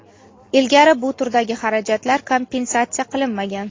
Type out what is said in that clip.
Ilgari bu turdagi xarajatlar kompensatsiya qilinmagan.).